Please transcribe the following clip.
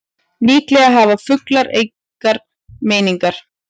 Líklega hafa fuglar engar meiningar.